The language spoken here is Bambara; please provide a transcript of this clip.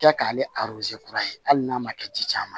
Kɛ k'ale kura ye hali n'a ma kɛ di caman ma